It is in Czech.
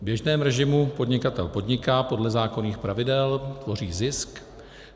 V běžném režimu podnikatel podniká podle zákonných pravidel, tvoří zisk.